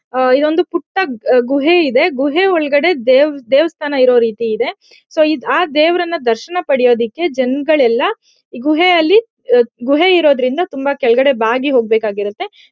ಆಹ್ಹ್ ಇದು ಒಂದು ಪುಟ್ಟ ಗುಹೆ ಇದೆ. ಗುಹೆ ಒಳಗಡೆ ದೇವ್ ದೇವಸ್ಥಾನ ಇರೋ ರೀತಿ ಇದೆ. ಸೊ ಆ ದೇವ್ರನ್ನ ದರ್ಶನ ಪಡೆಯೋದಿಕೆ ಜನಗಳ್ ಎಲ್ಲ ಗುಹೆ ಅಲ್ಲಿ ಗುಹೆ ಇರೋದ್ರಿಂದ ತುಂಬಾ ಕೆಳಗಡೆ ಬಾಗಿ ಹೋಗ್ಬೇಕ್ ಆಗಿರುತ್ತೆ.